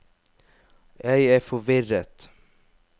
jeg er forvirret